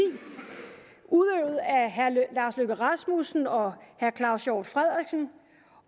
udøvet af herre lars løkke rasmussen og herre claus hjort frederiksen